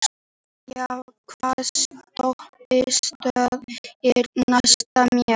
Dilja, hvaða stoppistöð er næst mér?